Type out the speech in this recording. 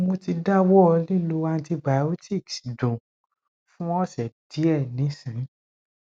mo ti dawọ lilo antibiotics dun fun ose diẹ nisin